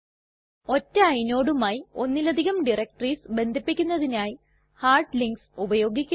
ഒറ്റ inodeമായി ഒന്നിലധികം ഡയറക്ടറീസ് ബന്ധിപ്പിക്കുന്നതിനായി ഹാർഡ്ലിങ്ക്സ് ഉപയോഗിക്കുന്നു